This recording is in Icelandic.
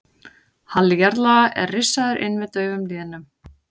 Halli jarðlaga er rissaður inn með daufum línum.